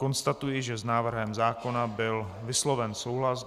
Konstatuji, že s návrhem zákona byl vysloven souhlas.